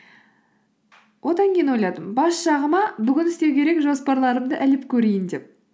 одан кейін ойладым бас жағыма бүгін істеу керек жоспарларымды іліп көрейін деп